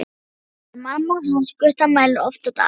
Mædd er orðin mamma hans Gutta, mælir oft á dag.